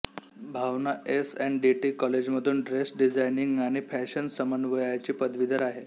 भावना S N D T कॉलेजमधून dress designing आणि fashion समन्वयाची पदवीधर आहे